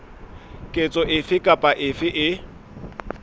ketso efe kapa efe e